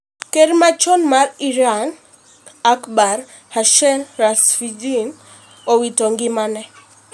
Ker machon ma Iran Akbar Hashemi Rafsanjani owito ngimane